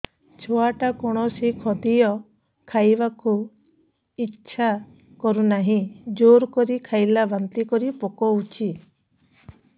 ଛୁଆ ଟା କୌଣସି ଖଦୀୟ ଖାଇବାକୁ ଈଛା କରୁନାହିଁ ଜୋର କରି ଖାଇଲା ବାନ୍ତି କରି ପକଉଛି